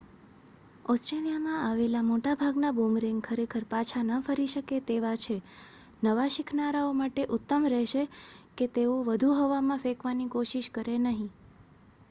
ઓસ્ટ્રેલીયામાં આવેલા મોટા ભાગના બૂમરેંગ ખરેખર પાછા ન ફરી શકે તેવા છે નવા શિખનારાઓ માટે ઉત્તમ રહેશે કે તેઓ વધુ હવામાં ફેકવાની કોશિશ કરે નહીં